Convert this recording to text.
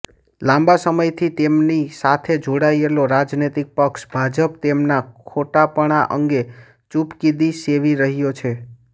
લાંબા સમયથી તેમની સાથે જોડાયેલો રાજનૈતિક પક્ષ ભાજપ તેમના ખોટાપણાં અંગે ચૂપકિદિ સેવી રહ્યો છે